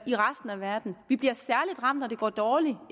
i resten af verden vi bliver særlig ramt når det går dårligt